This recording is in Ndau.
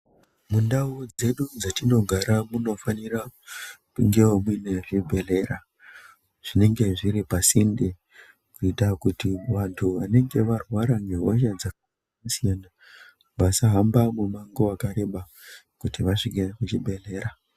Mundau dzedu dzatinogara munofanira kungewo muine zvibhedhlera zvinenge zviri pasinde kuita kuti vantu vanenge varwara ngehosha dzakasiyana-siyana vasahamba mumango wakareba kuti vasvike kuchibhedhlera.